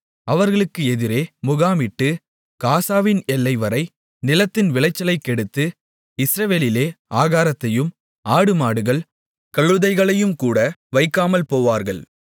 அவர்களுக்கு எதிரே முகாமிட்டு காசாவின் எல்லைவரை நிலத்தின் விளைச்சலைக் கெடுத்து இஸ்ரவேலிலே ஆகாரத்தையும் ஆடுமாடுகள் கழுதைகளையும்கூட வைக்காமல் போவார்கள்